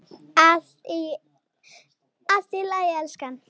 Allt í lagi, elskan.